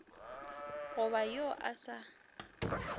go ba wo o sa